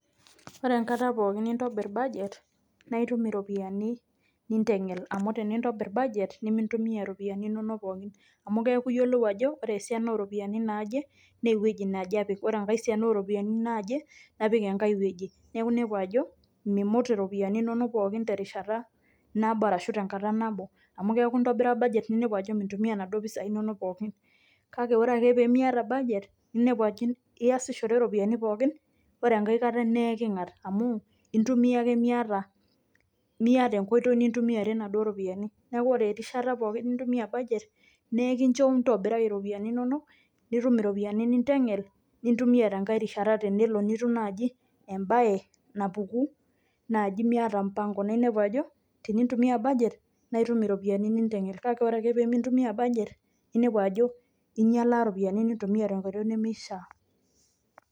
Ore enkata pookin nintobiir budget naa itum iropiani niteng'el . Amu tenintobir budget nimintumia ropiani inonok pookin. Amuu keeku iyiolou ajo ore esiani naje oropiani naaje na eweji naje apik, ore enkae siana oo ropiani naaje napik ankae weji. Neeku inepu ajo mimut iropiani inonok pookin terishata nabo arashu tenkata nabo. Amu keeku intobira budget ninepu ajo mintumia naduo pisai inonok pookin. Kaake ore ake pemiata budget ninepu ajo iyasishore iropiani pookin ore enkae kaataa na iking'at amuu intomia ake miata enkoitoi nintumiare naduo ropiani. Neeku ore erishata pookin nintumia budget naa ekincho ntobirai iropiani inonok nitum iropiani niteng'el nintumia tenkai rishata tenelo nituum naaji ebae napuku naajii miata mpango naa inepu ajo tenintumia budget naa itum iropiani niteng'el, kake ore ake pemintumia budget ninepu ajo inyaalaa ropiani nintumia tenkoitoi nemiisha.